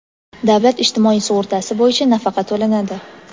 davlat ijtimoiy sug‘urtasi bo‘yicha nafaqa to‘lanadi.